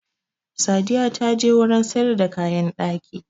Sadiya ta je wurin sayar da kayan ɗaki